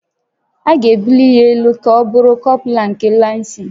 A ga-ebuli ya elu ka ọ bụrụ kọpralụ nke lansị